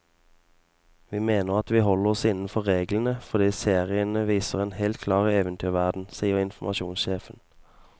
Vi mener at vi holder oss innenfor reglene, fordi seriene viser en helt klar eventyrverden, sier informasjonssjefen.